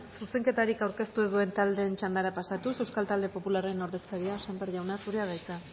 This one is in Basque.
zuzenketarik ez zuen taldeen txandara pasatuz euskal talde popularraren ordezkaria sémper jauna zurea da hitza